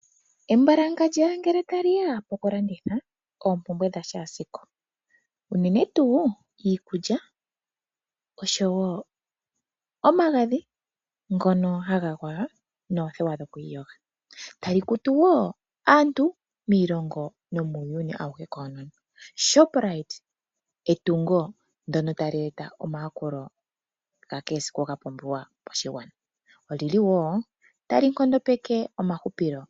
Embalakandja ngele ta liya okulanditha oompumbwe dha kehe esiku iikulya unene tuu iikulya oshowo omagadhi ngono haga gwaya noodhewa dhokwiiyoga. Tali kutu wo aantu miilongo nomuuyuni awuhe koonono. Shopright etungo lyono tali eta omayakulo ga kehe esiku tali nkondopeke wo uuhupilo.